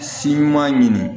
Si ɲuman ɲini